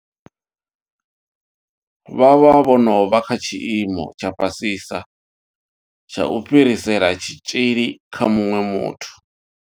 Vha vha vho no vha kha tshiimo tsha fhasisa tsha u fhirisela tshitzhili kha muṅwe muthu.